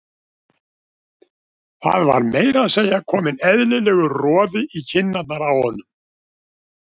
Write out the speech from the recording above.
Það var meira að segja kominn eðlilegur roði í kinnarnar á honum.